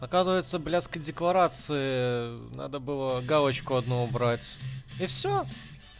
оказывается блятской декларации надо было галочку одну убрать и все